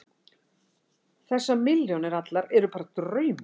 Þessar milljónir allar eru bara draumur.